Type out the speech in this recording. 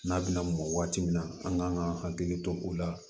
N'a bɛna mɔn waati min na an kan ka hakili to o la